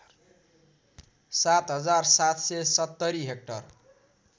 ७ हजार ७७० हेक्टर